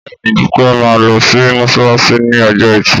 Bẹ́ẹ̀ni Dúpẹ́ máa lọ sí mọ́sálásí ní ọjọ́ ẹtì